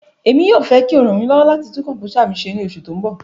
Emi yoo fẹ ki o ran mi lọwọ lati tun kọmputa mi ṣe ni oṣu ti n bọ